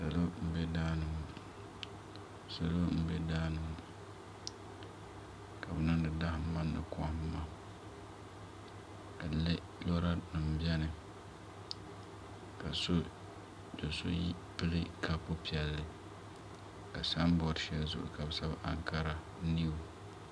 Salo n bɛ daani ŋo ka bi niŋdi damma ni kohamma dinni lora nim biɛni ka so pili kaap piɛlli ka sanbood shɛli zuɣu ka bi sabi ankara niw